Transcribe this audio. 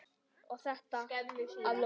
Og þetta að lokum.